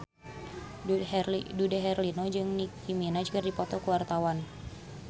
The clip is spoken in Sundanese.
Dude Herlino jeung Nicky Minaj keur dipoto ku wartawan